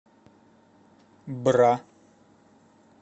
бра